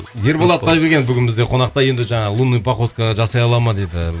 ерболат құдайбергенов бүгін бізде қонақта енді жаңағы лунная походка жасай алады ма дейді